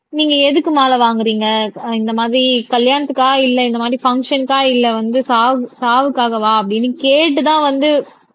நீங்க எதுக்கு மாலை வாங்குறீங்க அஹ் இந்த மாதிரி கல்யாணத்துக்கா இல்லை இந்த மாதிரி பங்க்சன்க்கா இல்லை வந்து சாவு சாவுக்காகவா அப்படின்னு கேட்டுதான் வந்து